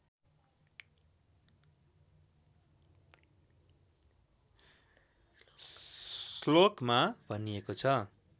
श्लोकमा भनिएको छ